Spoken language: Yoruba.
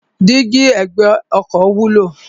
Dígí ẹ̀gbẹ́ ọkọ̀ wúlò.